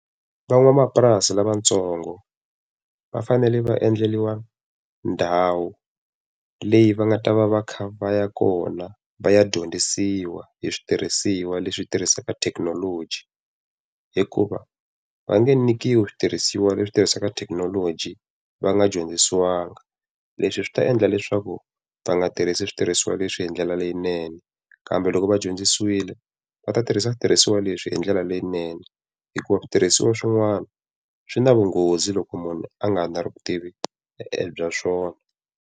Van'wamapurasi lavatsongo va fanele va endleriwa ndhawu leyi va nga ta va va kha va ya kona va ya dyondzisiwa hi switirhisiwa leswi tirhisiwaka thekinoloji. Hikuva va nge nyikiwi switirhisiwa leswi tirhisiwaka thekinoloji, va nga dyondzisiwanga. Leswi swi ta endla leswaku va nga tirhisi switirhisiwa leswi hi ndlela leyinene, kambe loko va dyondzisiwile va ta tirhisa switirhisiwa leswi hi ndlela leyinene. Hikuva switirhisiwa swin'wana swi na vunghozi loko munhu a nga na vutivi bya swona.